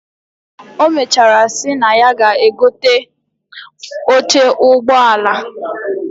Omechara si na ya ga egote oche ugbọ ala